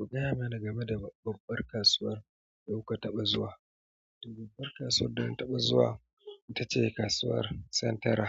Kugaya mana game da babbar kasuwar da kuka taɓa zuwa. Babbar kasuwar da na taɓa zuwa ita ce Kasuwar Sentara